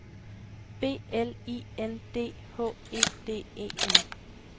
B L I N D H E D E N